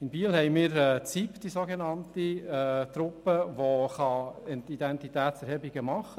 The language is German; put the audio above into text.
In Biel haben wir die sogenannte Sicherheit-Intervention-Prävention (SIP).